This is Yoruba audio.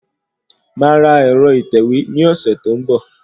Màá ra ẹ̀rọ ìtẹ̀wé ní ọ̀sẹ̀ tó ń bọ̀